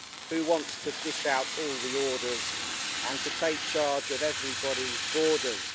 Who wants to dish out all the orders and to take charge of everybody's borders?